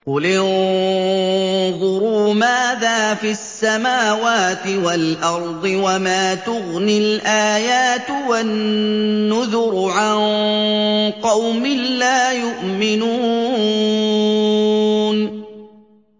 قُلِ انظُرُوا مَاذَا فِي السَّمَاوَاتِ وَالْأَرْضِ ۚ وَمَا تُغْنِي الْآيَاتُ وَالنُّذُرُ عَن قَوْمٍ لَّا يُؤْمِنُونَ